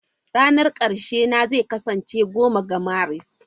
Ranar ƙarshe na zai kasance 10 ga Maris.